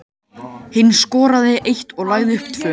Hinn skoraði eitt og lagði upp tvö.